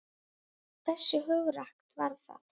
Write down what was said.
Hversu hugrakkt var það?